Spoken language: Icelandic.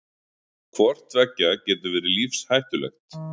hvort tveggja getur verið lífshættulegt